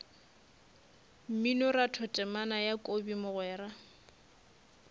mminoratho temana ya kobi mogwera